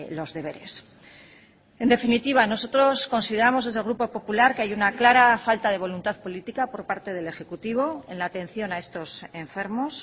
los deberes en definitiva nosotros consideramos desde el grupo popular que hay una clara falta de voluntad política por parte del ejecutivo en la atención a estos enfermos